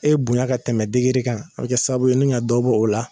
E bonya ka tɛmɛ kan an bɛ kɛ sababu ye nin ŋa dɔ bɔ o la.